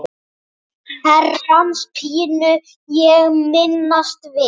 Herrans pínu ég minnast vil.